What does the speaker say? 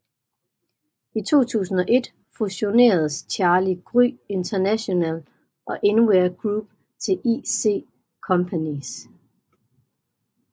I 2001 fusioneredes Carli Gry International og InWear Group til IC Companys